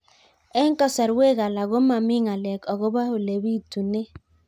Eng' kasarwek alak ko mami ng'alek akopo ole pitunee